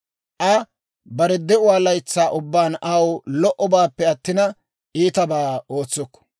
Aa bare de'uwaa laytsaa ubbaan aw lo"obaappe attina, iitabaa ootsukku.